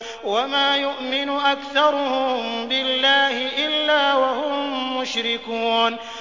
وَمَا يُؤْمِنُ أَكْثَرُهُم بِاللَّهِ إِلَّا وَهُم مُّشْرِكُونَ